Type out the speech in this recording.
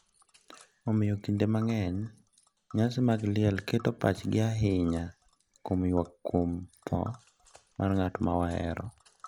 omiyo kinde mang’eny, nyasi mag liel keto pachgi ahinya kuom ywak kuom tho mar ng’at ma wahero.